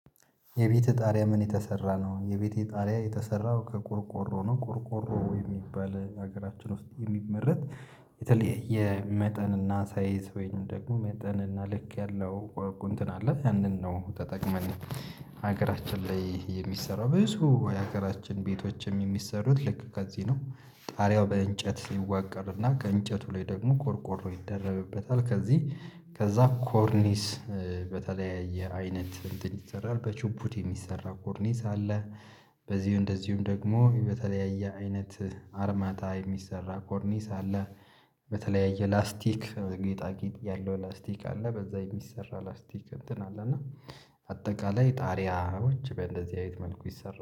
የቤትህ ጣሪያ ምን የተሰራ ነው? የቤቴ ጣሪያ የተሰራው ከቆርቆሮ ነው። ቁርቆሮ የሚባል ሀገራችን ውስጥ የሚመረት የተለየ የመጠን እና ሳይዝ ወይንም ደግሞ መጠን እና ልክ ያለው ወቁ አለ ያንን ነው ተጠቅመን። ሀገራችን ላይ የሚሰራው ብዙ የሀገራችን ቤቶችም የሚሰሩት ልክ ከዚህ ነው። ጣሪያው በእንጨት ይዋቀርና ከእንጨቱ ላይ ደግሞ ቆርቆሮ ይደረብበታል። ከዚህ ከዛ ኮርኒስ በተለያየ አይነት እንትን ይሰራል በቹፑድ የሚሰራ ኮርኒስ አለ። በዚሁ እንደዚሁም ደግሞ በተለያየ አይነት አርማታ የሚሰራ ኮርኒስ አለ። በተለያየ ላስቲክ ጌጣጌጥ ያለው ላስቲክ አለ በዛ የሚሰራ ላስቲክ እንትን አለ እና አጠቃላይ ጣሪያዎች በደዚህ አይነት መልኩ ይሰራ